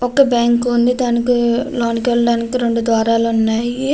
ఒక బ్యాంకు ఉంది. దానికి లోనికి వెళ్లడానికి రెండు ద్వారాలు ఉన్నాయి.